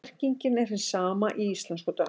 Merkingin er hin sama í íslensku og dönsku.